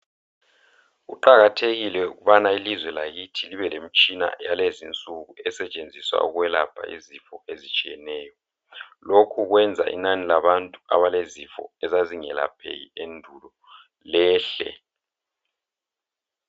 Kuqakathekile ukubana ilizwe lakithi libe lemitshina yalezinsuku esetshenziswa ukwelapha izifo ezitshiyeneyo. Lokhu kwenza inani labantu abalezifo ezazingelapheki endulo lehle.